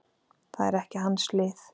Það er ekki hans lið.